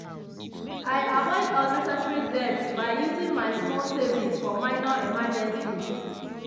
i avoid unnecessary debt by using my small savings for minor emergencies.